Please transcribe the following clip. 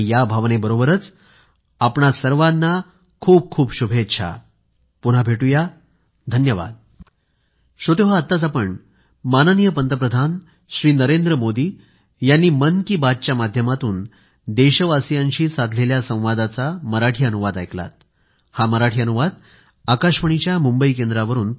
या भावनेबरोबरच आपल्या सर्वांना खूपखूप शुभेच्छा धन्यवाद पुन्हा भेटू